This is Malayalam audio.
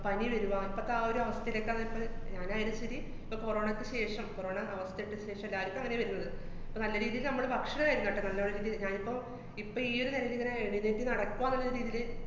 പനി വരുവ, ഇപ്പത്തെ ആ ഒരുവസ്ഥേലാക്കാണ് ഇപ്പ ഞാനായാലും ശരി, ഇപ്പ corona യ്ക്ക് ശേഷം corona അവസ്ഥേക്കു ശേഷം എല്ലാരിക്കും അങ്ങനേ വരുന്നത്. ഇപ്പ നല്ല രീതീല് നമ്മള് ഭക്ഷണായിരുന്നോട്ടെ, നല്ല വരതി~ ഞാനിപ്പൊ ഇപ്പ ഈയൊരു എഴുന്നേറ്റ് നടക്ക്വാന്ന്ള്ള രീതീല്